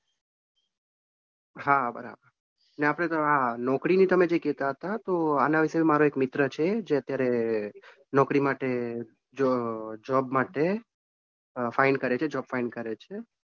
હા બરાબર. આપણે તો નોકરી ની તમે જે કેતા હતા તો આના વિશે મારે એક મિત્ર છે જે અત્યારે નોકરી માટે જ. job માટે find કરે છે job find કરે છે